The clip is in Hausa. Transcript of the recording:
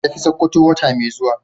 Zan tafi sokoto wata mai zuwa.